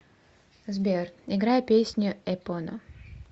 сбер играй песню эпона